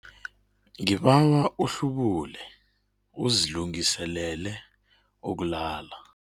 Ngibawa uhlubule uzilungiselele ukulala.